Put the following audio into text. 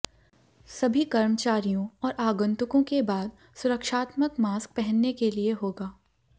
सभी कर्मचारियों और आगंतुकों के बाद सुरक्षात्मक मास्क पहनने के लिए होगा